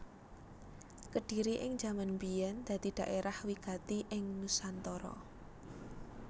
Kedhiri ing jaman biyèn dadi dhaerah wigati ing nusantara